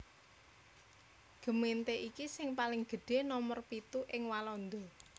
Gemeente iki sing paling gedhé nomer pitu ing Walanda